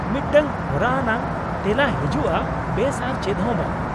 ᱢᱤᱫᱴᱟᱝ ᱦᱚᱨᱟ ᱟᱱᱟᱜ ᱛᱮᱞᱟ ᱦᱤᱡᱩᱜᱼᱟ, ᱵᱮᱥ ᱟᱨ ᱪᱮᱫ ᱦᱚᱸ ᱵᱟᱝ ᱾